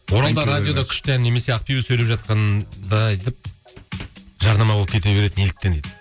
оралда радиода күшті ән немесе ақбибі сөйлеп жатқанда жарнама болып кете береді неліктен дейді